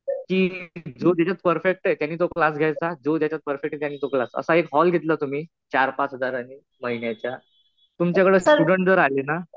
त्यांची, जो ज्याच्यात परफेक्ट आहे त्यानी तो क्लास घ्यायचा. जो ज्याच्यात परफेक्ट आहे त्यानी तो क्लास. असा एक हॉल घेतला तुम्ही चार-पाच हजारांनी महिन्याच्या. तुमच्याकडं स्टुडन्ट जर आले ना.